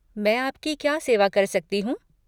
मैं आप की क्या सेवा कर सकती हूँ?